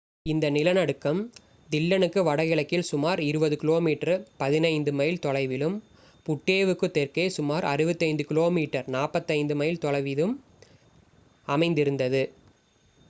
இந்த நிலநடுக்கம் தில்லனுக்கு வடகிழக்கில் சுமார் 20 கிமீ 15 மைல் தொலைவிலும் புட்டேவுக்குத் தெற்கே சுமார் 65 கிமீ 40 மைல் மையத்திலும் அமைந்திருந்தது